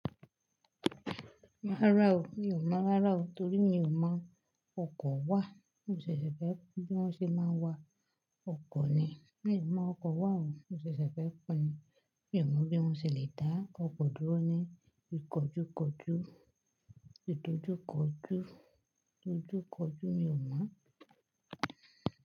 Rarà ó, mi ò mọ rára ó torí mi ò mọ̀ ọkọ̀ wà. Mo ṣẹ̀ṣẹ̀ fẹ́ ẹ kó bí wọ́n ṣe máa ń wa ọkọ̀ ni. Mi ò mọ ọkọ̀ wà o, mo ṣẹ̀ṣẹ̀ fẹ́ kò ni. Mi ò mọ bí wọ́n ṣe le dá ọkọ̀ dúró ní ìkọjúkọjú, ìtọ́júkọjú, títújúkọjú, mi ò mọ̀